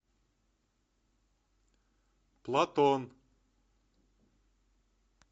платон